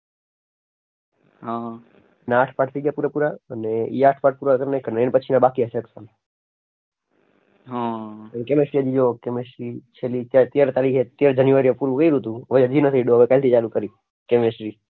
થઈ ગયા પૂરેપૂરા અને